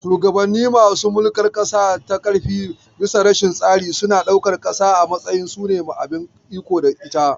Shugabannin masu mulkar ƙasa ta ƙarfi bisa rashin tsari suna ɗaukan ƙasa a matsayin su ne abin iko da ita.